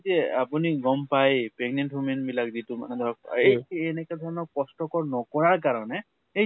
যে এই যে আপুনি গʼম পাই pregnant women বিলাক যিটো মাহ ধৰক এই এনেকা ধৰণৰ কষ্ট্কৰ নকৰা ৰ কাৰণে এ